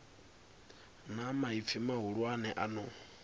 na maipfi mahulwane a no